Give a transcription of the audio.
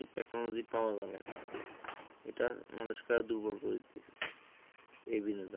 Technology পাওয়া যাবেনা। এটা মানুষকে আরো দুর্বল করে দিতেছে এই বিনোদন।